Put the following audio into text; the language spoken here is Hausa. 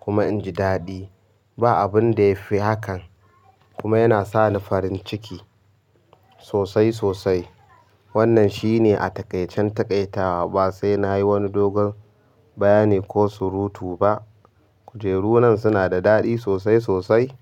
kuma inji daɗi. Ba abun da ya fi hakan kuma yana sani farin ciki sosai sosai. Wannan shine a taƙaican taƙaitawa ba sai na yi wani dogon bayani ko surutu ba. Kujeru nan suna da daɗi sosai sosai.